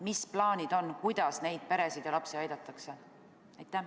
Mis plaanid on, kuidas neid peresid ja lapsi aidatakse?